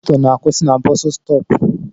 Moto na akwụsị na busustopu